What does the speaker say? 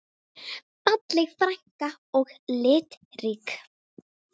Falleg frænka og litrík.